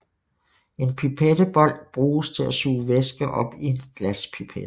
En pipettebold bruges til at suge væske op i en glaspipette